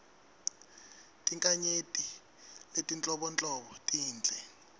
tinkhanyeti letinhlobonhlobo tinhle